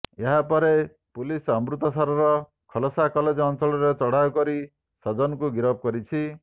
ଏହାପରେ ପୁଲିସ୍ ଅମୃତସରର ଖାଲସା କଲେଜ ଅଞ୍ଚଳରେ ଚଢ଼ଉ କରି ସଜନକୁ ଗିରଫ କରିଛି